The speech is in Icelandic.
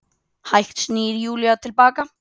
Hægt snýr Júlía til baka.